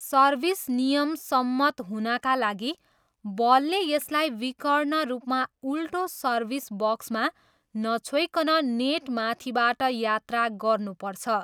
Service नियमसम्मत हुनाका लागि, बलले यसलाई विकर्ण रूपमा उल्टो सर्भिस बक्समा नछोइकन नेट माथिबाट यात्रा गर्नुपर्छ।